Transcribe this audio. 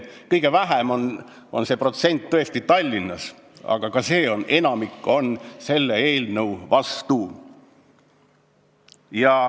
Kõige väiksem on see protsent tõesti Tallinnas, aga ka Tallinnas on enamik selle eelnõu vastu.